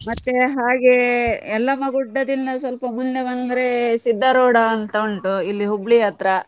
ಮತ್ತೆ ಹಾಗೆ, Yellamma Gudda ದಿಂದ ಮುಂದೆ ಬಂದ್ರೆ Siddaruda ಅಂತ ಉಂಟು ಇಲ್ಲಿ Hubballi ಹತ್ರ.